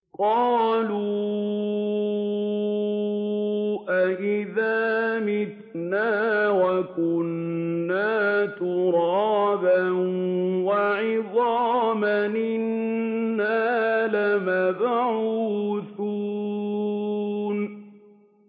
قَالُوا أَإِذَا مِتْنَا وَكُنَّا تُرَابًا وَعِظَامًا أَإِنَّا لَمَبْعُوثُونَ